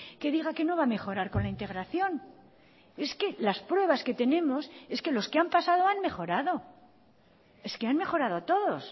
que diga que no va a mejorar con la integración es que las pruebas que tenemos es que los que han pasado han mejorado es que han mejorado todos